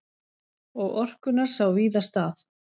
Og orkunnar sá víða stað.